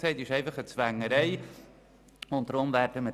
Sie können das schlecht finden, das ist in Ordnung.